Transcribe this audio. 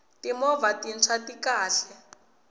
timovha tintshwa ti kahle